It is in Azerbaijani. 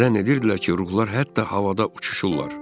Zənn edirdilər ki, ruhlar hətta havada uçuşurlar.